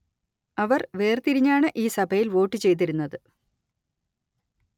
അവർ വേർ തിരിഞ്ഞാണ് ഈ സഭയിൽ വോട്ടു ചെയ്തിരുന്നത്